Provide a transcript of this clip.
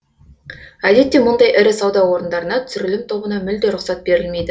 әдетте мұндай ірі сауда орындарына түсірілім тобына мүлде рұқсат берілмейді